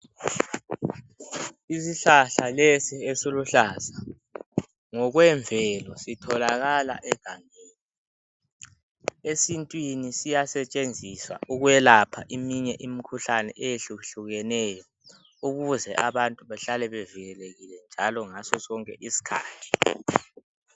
isishlahla lesi esiluhlaza ngokwemvelo sitholakala egangeni esintwini siyasetshenziswa ukwelapha eminye imikhuhlane eyehlukahlukeneyo ukuze abantu behlale bevikelekile njalo ngaso sonke isikhathi